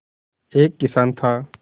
एक किसान था